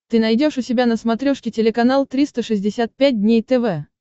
ты найдешь у себя на смотрешке телеканал триста шестьдесят пять дней тв